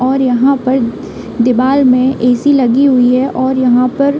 और यहाँ पर दीवाल में एसी लगी हुई है और यहाँ पर --